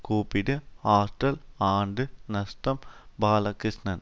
கூப்பிடு ஹாஸ்டல் ஆண்டு நஷ்டம் பாலகிஷ்ணன்